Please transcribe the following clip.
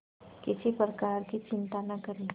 किसी प्रकार की चिंता न करें